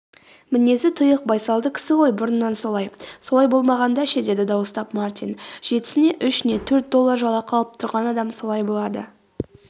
мінезі тұйық байсалды кісі ғой бұрыннан солай.солай болмағанда ше деді дауыстап мартин.жетісіне үш не төрт доллар жалақы алып тұрған адам солай болады